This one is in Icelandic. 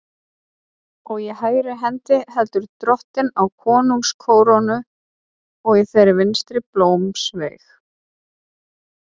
Og í hægri hendi heldur Drottinn á konungskórónu og í þeirri vinstri blómsveig.